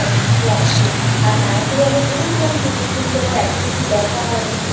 এতো কিছু আছে আর মায়াপুরে আমি ঘুরেছিলাম ঠিকই কিন্তু আমার এতো কিছু দেখা হয় নি